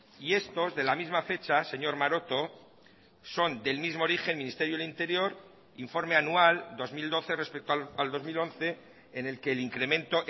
y estos de la misma fecha señor maroto son del mismo origen ministerio del interior informe anual dos mil doce respecto al dos mil once en el que el incremento